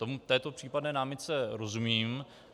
Této případné námitce rozumím.